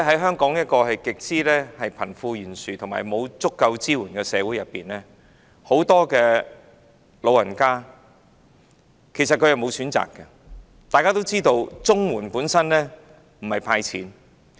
香港是一個極為貧富懸殊及欠缺足夠支援的社會，其實很多長者均沒有選擇，而且正如大家都知道，綜援並不等於"派錢"。